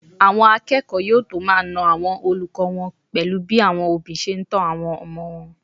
Àwọn akẹ́kọ̀ọ́ yóò tó máa na àwọn olùkọ́ wọn pẹ̀lú bí àwọn òbí ṣe ń tọ́ àwọn ọmọ wọn